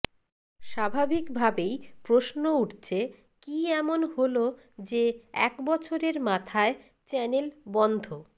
স্বাভাবিকভাবেই প্রশ্ন উঠছে কী এমন হল যে এক বছরের মাথায় চ্যানেল বন্ধ